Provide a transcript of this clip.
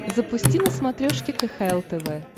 запусти на смотрешке кхл тв